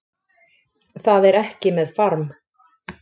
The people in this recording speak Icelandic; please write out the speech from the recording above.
Það er ekki með farm